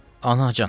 Anacan.